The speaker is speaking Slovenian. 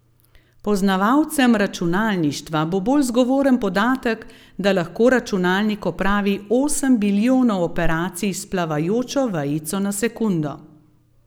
Poznavalcem računalništva bo bolj zgovoren podatek, da lahko računalnik opravi osem bilijonov operacij s plavajočo vejico na sekundo.